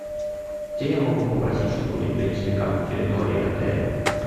где я могу попросить чтобы мне принесли карту территории отеля